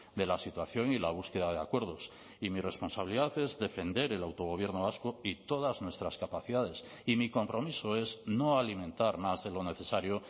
de la situación y la búsqueda de acuerdos y mi responsabilidad es defender el autogobierno vasco y todas nuestras capacidades y mi compromiso es no alimentar más de lo necesario